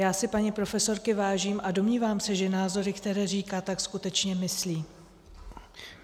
Já si paní profesorky vážím a domnívám se, že názory, které říká, tak skutečně myslí.